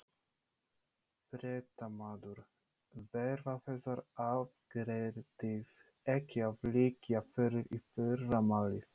Fréttamaður: Verða þessar aðgerðir ekki að liggja fyrir í fyrramálið?